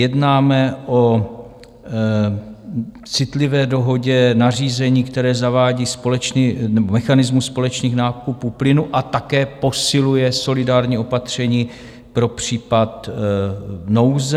Jednáme o citlivé dohodě, nařízení, které zavádí mechanismus společných nákupů plynu a také posiluje solidární opatření pro případ nouze.